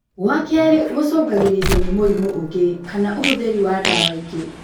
Gwa-kerĩ gũcungagĩrĩrio nĩ mũrimũ ũngĩ kana ũhũthĩri wa dawa ingĩ